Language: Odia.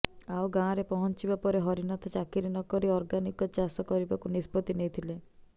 ଆଉ ଗାଁରେ ପହଞ୍ଚିବା ପରେ ହରିନାଥ ଚାକିରି ନକରି ଅର୍ଗାନିକ ଚାଷ କରିବାକୁ ନିଷ୍ପତି ନେଇଥିଲେ